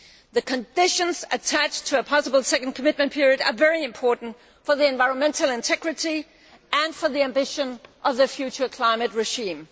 The conditions attached to a possible second commitment period are very important for environmental integrity and the ambition of the future climate regime.